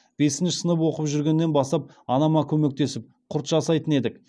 бесінші сынып оқып жүргеннен бастап анама көмектесіп құрт жасайтын едік